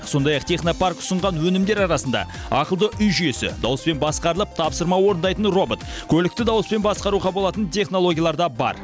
сондай ақ технопарк ұсынған өнімдер арасында ақылды үй жүйесі дауыспен басқарылып тапсырма орындайтын робот көлікті дауыспен басқаруға болатын технологиялар да бар